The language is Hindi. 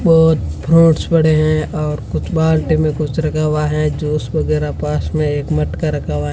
बोहोत फ्रुट्स पड़े हैं और कुछ बाल्टी में कुछ रखा हुआ है जूस वगेरा पास में एक मटका रखा हुआ --